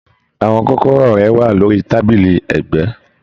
Àwọn kọ́kọ́rọ́ rẹ wà lórí tábìlì ẹgbẹ.